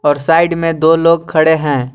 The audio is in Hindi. और साइड में दो लोग खड़े हैं।